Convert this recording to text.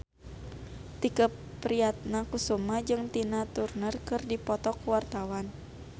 Tike Priatnakusuma jeung Tina Turner keur dipoto ku wartawan